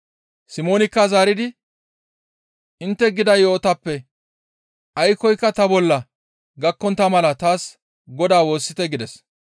Simoonikka zaaridi, «Intte gida yo7otappe aykkoyka ta bolla gakkontta mala taas Godaa woossite» gides.